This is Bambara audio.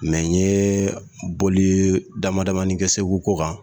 Mɛ n ye bɔli damadamani kɛ Segu ko kan